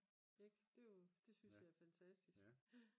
ikke det synes jeg jo er fantastisk